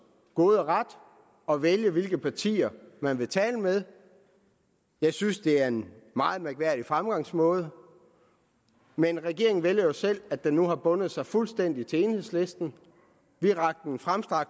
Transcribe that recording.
gode ret at vælge hvilke partier man vil tale med jeg synes det er en meget mærkværdig fremgangsmåde men regeringen vælger jo selv at den nu har bundet sig fuldstændig til enhedslisten vi rakte hånden frem